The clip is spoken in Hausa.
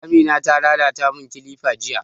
Amina ta lalata mun kilifa jiya